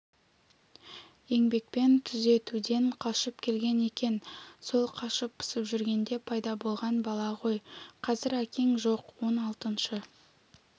еңбекпен түзетуден қашып келген екен сол қашып-пысып жүргенде пайда болған бала ғой қазір әкең жоқ он алтыншы